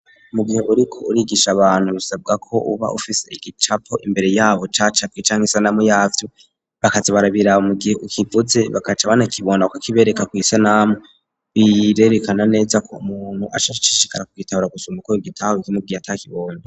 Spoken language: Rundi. Mu gihe buriko urigisha abantu bisabwa ko uba ufise igicapo imbere yabo cacap icanka isanamu y'avyu bakazi barabirabo mu gihe ukivuze bakaca banakibona ka kibereka ku isanamu biyirerekana neza ko umuntu ashashishikara kwitabara gusama kobe gitaho icimubwihe atakibone.